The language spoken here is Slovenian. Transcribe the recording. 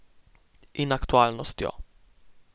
In aktualnostjo.